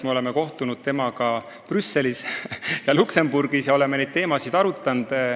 Me oleme kohtunud temaga Brüsselis ja Luxembourgis ja oleme neid teemasid arutanud.